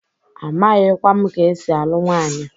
Amaghikwa m ka esi alụ nwanyị.